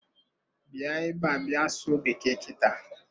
Bịa ebe a bịa sụọ bekee kita.